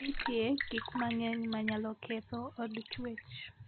Ng'e ni nitie gik mang'eny ma nyalo ketho od chwech.